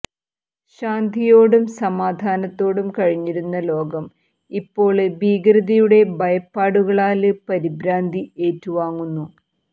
ശാന്തിയോടും സമാധാനത്തോടും കഴിഞ്ഞിരുന്ന ലോകം ഇപ്പോള് ഭീകരതയുടെ ഭയപ്പാടുകളാല് പരിഭ്രാന്തി ഏറ്റു വാങ്ങുന്നു